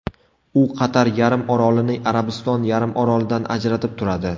U Qatar yarimorolini Arabiston yarimorolidan ajratib turadi.